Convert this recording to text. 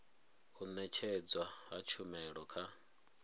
u nekedzwa ha tshumelo kha